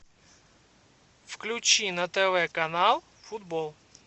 включи на тв канал футбол